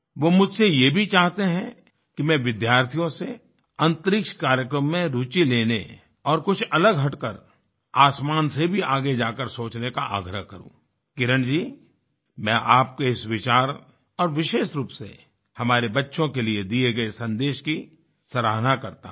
वो मुझसे ये भी चाहते हैं कि मैं विद्यार्थियों से अंतरिक्ष कार्यक्रमों में रूचि लेने और कुछ अलग हटकर आसमान से भी आगे जाकर सोचने का आग्रह करूँ किरण जी मैं आपके इस विचार और विशेष रूप से हमारे बच्चों के लिए दिए गए संदेश की सराहना करता हूँ